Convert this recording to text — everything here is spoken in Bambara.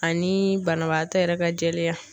Ani banabaatɔ yɛrɛ ka jɛlenya.